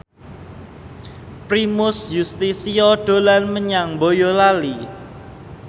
Primus Yustisio dolan menyang Boyolali